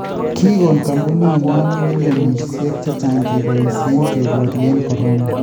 Kikon koombuniinyo milyonisiek chechang� keboisye keboryeen corona